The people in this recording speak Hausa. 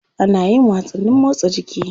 Ana yin wasanni motsa jiki.